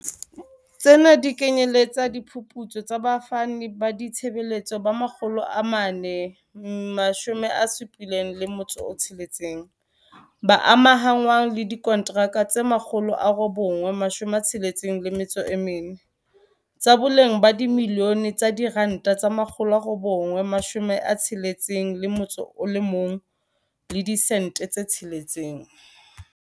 Tsena di kenyeletsa diphuputso tsa bafani ba ditshebeletso ba 476, ba amahanngwang le diko ntraka tse 964, tsa boleng ba dimiliyone tse R961.6.